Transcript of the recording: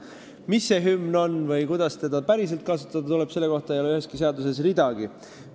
Mis see hümn on või kuidas seda päriselt kasutada tuleb, selle kohta ei ole üheski seaduses ridagi.